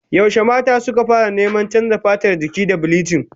Yaushe mata suka fara neman canza fatar jiki da bilichin?